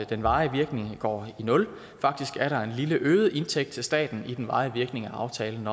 den varige virkning går i nul faktisk er der en lille øget indtægt til staten i den varige virkning af aftalen